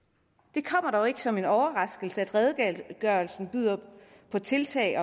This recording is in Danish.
det kommer dog ikke som en overraskelse at redegørelsen byder på tiltag